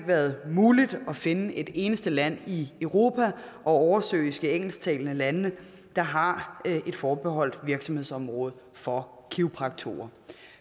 været muligt at finde et eneste land i europa og oversøiske engelsktalende lande der har et forbeholdt virksomhedsområde for kiropraktorer